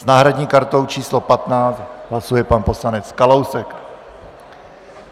S náhradní kartou číslo 15 hlasuje pan poslanec Kalousek.